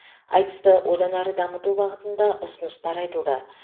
айтысты одан әрі дамыту бағытында ұсыныстар айтылды